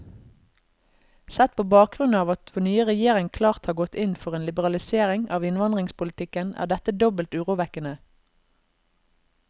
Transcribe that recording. Sett på bakgrunn av at vår nye regjering klart har gått inn for en liberalisering av innvandringspolitikken, er dette dobbelt urovekkende.